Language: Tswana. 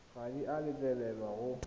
ga di a letlelelwa go